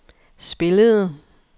spillede